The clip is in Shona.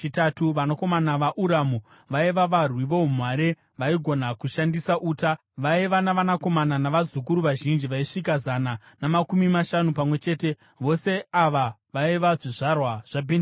Vanakomana vaUramu vaiva varwi voumhare vaigona kushandisa uta. Vaiva navanakomana navazukuru vazhinji vaisvika zana namakumi mashanu pamwe chete. Vose ava vaiva zvizvarwa zvaBhenjamini.